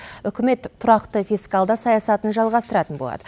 үкімет тұрақты фискалды саясатын жалғастыратын болады